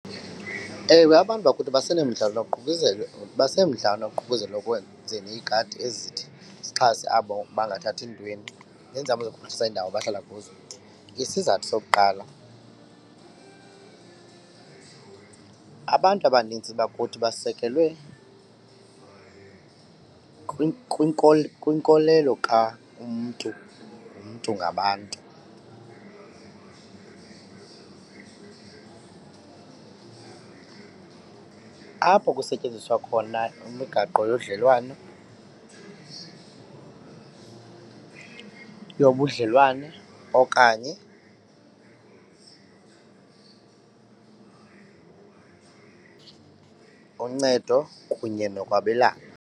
Ewe, abantu bakuthi basenomdla noququzelo basenomdla noququzelo ekwenzeni iigadi ezithi zixhase abo bangathathi ntweni neenzame zokuphuhlisa iindawo abahlala kuzo. Isizathu sokuqala abantu abanintsi bakuthi basekelwe kwinkolelo ka-umntu ngumntu ngabantu apho kusetyenziswa khona imigaqo yodlelwano, yobudlelwane okanye uncedo kunye nokwabelana.